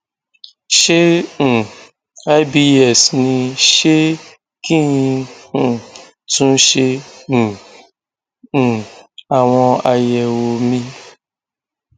ṣé um ibs ni ṣé kí n um tún ṣe um um àwọn àyẹwò míì